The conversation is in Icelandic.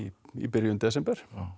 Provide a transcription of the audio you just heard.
í byrjun desember